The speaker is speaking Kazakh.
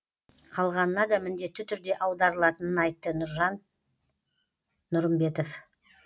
қалғанына да міндетті түрде аударылатынын айтты біржан нұрымбетов